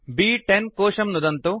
ब्10 कोशं नुदन्तु